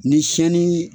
Ni sɛni